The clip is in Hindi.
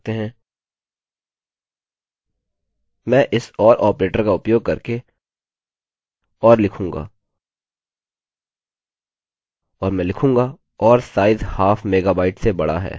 मैं इस or ऑपरेटर का उपयोग करके or लिखूँगा और मैं लिखूँगा or साइज हाफ मेगाबाइट से बड़ा है